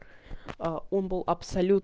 он был абсолют